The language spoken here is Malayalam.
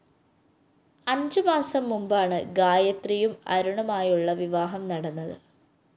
അഞ്ചുമാസം മുമ്പാണ് ഗായത്രിയും അരുണുമായുള്ള വിവാഹം നടന്നത്